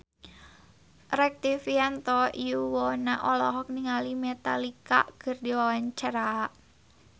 Rektivianto Yoewono olohok ningali Metallica keur diwawancara